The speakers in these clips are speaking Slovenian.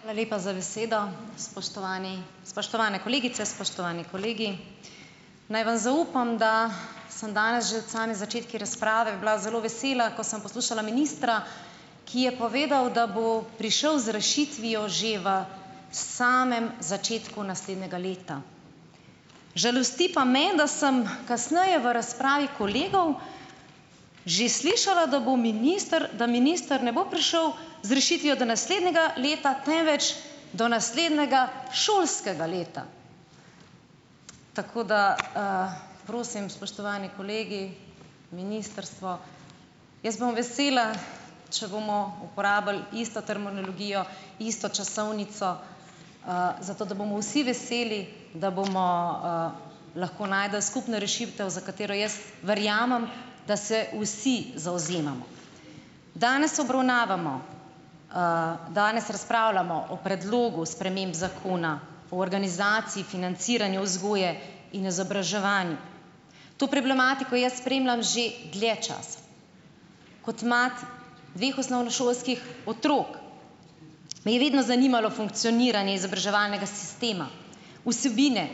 Hvala lepa za besedo. Spoštovani, spoštovane kolegice, spoštovani kolegi! Naj vam zaupam, da sem danes že od same začetku razprave bila zelo vesela, ko sem poslušala ministra, ki je povedal, da bo prišel z rešitvijo že v, samem začetku naslednjega leta. Žalosti pa me, da sem kasneje v razpravi kolegov že slišala, da bo minister, da minister ne bo prišel z rešitvijo do naslednjega leta, temveč do naslednjega šolskega leta. Tako da, prosim, spoštovani kolegi, ministrstvo, jaz bom vesela, če bomo uporabili isto terminologijo, isto časovnico, zato da bomo vsi veseli, da bomo, lahko našli skupno rešitev, za katero jaz verjamem, da se vsi zavzemamo. Danes obravnavamo, danes razpravljamo o predlogu sprememb zakona o organizaciji financiranju vzgoje in izobraževanja. To problematiko jaz spremljam že dlje časa. Kot mati dveh osnovnošolskih otrok me je vedno zanimalo funkcioniranje izobraževalnega sistema, vsebine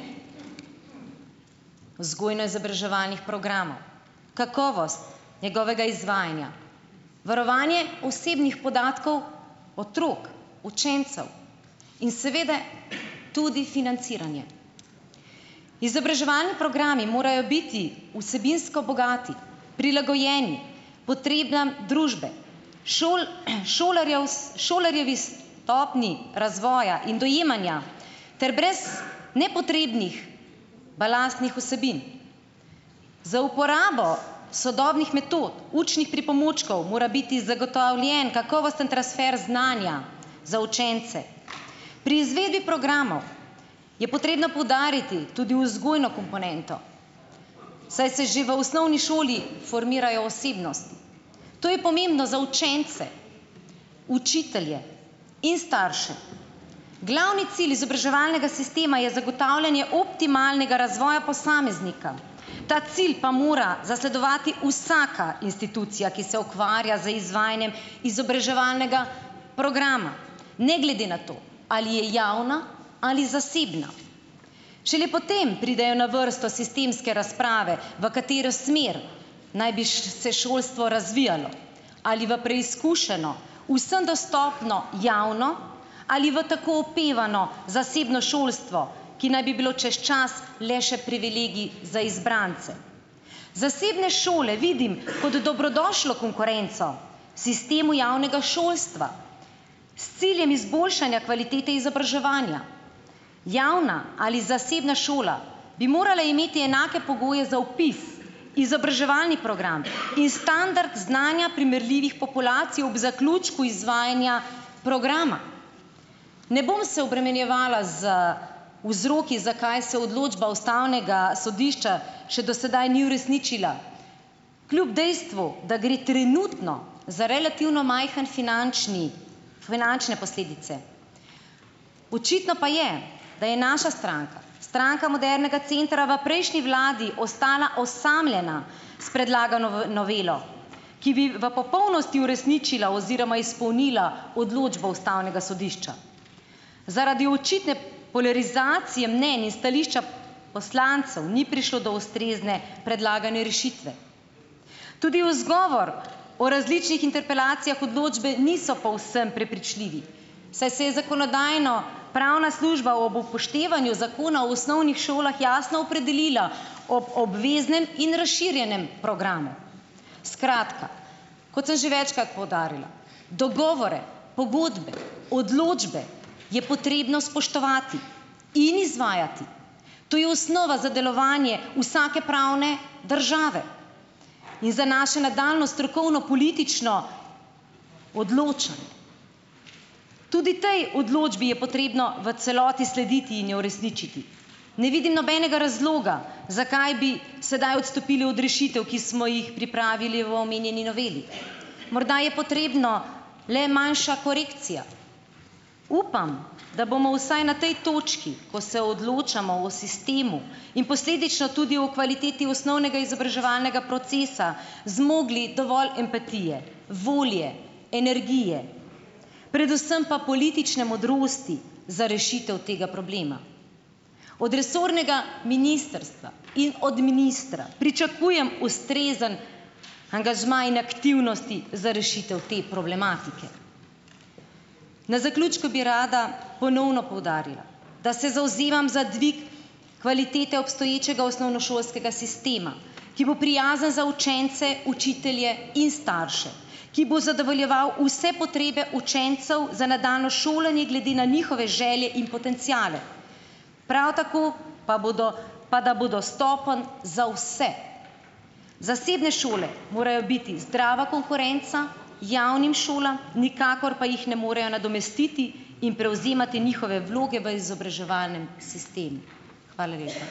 vzgojno-izobraževalnih programov, kakovost njegovega izvajanja, varovanje osebnih podatkov otrok, učencev in seveda tudi financiranje. Izobraževalni programi morajo biti vsebinsko bogati, prilagojeni potrebam družbe, šolarjevi stopnji razvoja in dojemanja ter brez nepotrebnih balastnih vsebin. Z uporabo sodobnih metod, učnih pripomočkov mora biti zagotovljen kakovosten transfer znanja za učence. Pri izvedi programov je potrebno poudariti tudi vzgojno komponento, saj se že v osnovni šoli formirajo osebnosti. To je pomembno za učence, učitelje in starše. Glavni cilj izobraževalnega sistema je zagotavljanje optimalnega razvoja posameznika, ta cilj pa mora zasledovati vsaka institucija, ki se ukvarja z izvajanjem izobraževalnega programa, ne glede na to, ali je javna ali zasebna. Šele potem pridejo na vrsto sistemske razprave, v katero smer naj bi, se šolstvo razvijalo ali v preizkušeno, vsem dostopno, javno ali v tako opevano zasebno šolstvo, ki naj bi bilo čez čas le še privilegij za izbrance. Zasebne šole vidim kot dobrodošlo konkurenco sistemu javnega šolstva, s ciljem izboljšanja kvalitete izobraževanja. Javna ali zasebna šola bi morali imeti enake pogoje za vpis, izobraževalni program in standard znanja primerljivih populacij ob zaključku izvajanja programa. Ne bom se obremenjevala z vzroki, zakaj se odločba Ustavnega sodišča še do sedaj ni uresničila, kljub dejstvu, da gre trenutno za relativno majhno finančni, finančne posledice. Očitno pa je, da je naša stranka, Stranka modernega centra v prejšnji vladi ostala osamljena s predlagano novelo, ki bi v popolnosti uresničila oziroma izpolnila odločbo Ustavnega sodišča. Zaradi očitne polarizacije mnenj in stališča poslancev ni prišlo do ustrezne predlagane rešitve. Tudi v odgovor o različnih interpelacijah odločbe niso povsem prepričljivi, saj se je zakonodajno- pravna služba ob upoštevanju zakona v osnovnih šolah jasno opredelila ob obveznem in razširjenem programu. Skratka, kot sem že večkrat poudarila, dogovore, pogodbe, odločbe je potrebno spoštovati in izvajati. To je osnova za delovanje vsake pravne države in za naše nadaljnje strokovno-politično odločanje. Tudi tej odločbi je potrebno v celoti slediti in jo uresničiti. Ne vidim nobenega razloga, zakaj bi sedaj odstopili od rešitev, ki smo jih pripravili v omenjeni noveli. Morda je potrebna le manjša korekcija. Upam, da bomo vsaj na tej točki, ko se odločamo o sistemu in posledično tudi o kvaliteti osnovnega izobraževalnega procesa, zmogli dovolj empatije, volje, energije, predvsem pa politične modrosti za rešitev tega problema. Od resornega ministrstva in od ministra pričakujem ustrezen angažma in aktivnosti za rešitev te problematike. Na zaključku bi rada ponovno poudarila, da se zavzemam za dvig kvalitete obstoječega osnovnošolskega sistema, ki bo prijazen za učence, učitelje in starše, ki bo zadovoljeval vse potrebe učencev za nadaljnje šolanje glede na njihove želje in potenciale, prav tako pa, bodo pa da bo dostopen za vse. Zasebne šole morajo biti zdrava konkurenca javnim šolam, nikakor pa jih ne morejo nadomestiti in prevzemati njihove vloge v izobraževalnem sistemu. Hvala lepa.